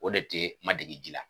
O de tɛ ma dege ji la